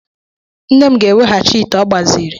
Nne m ga-eweghachi ite ọ gbaziri.